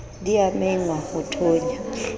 di a mengwa ho thonya